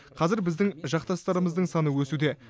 қазір біздің жақтастарымыздың саны өсуде